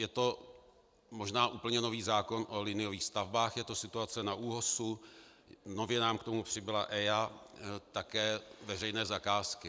Je to možná úplně nový zákon o liniových stavbách, je to situace na ÚOHS, nově nám k tomu přibyla EIA, také veřejné zakázky.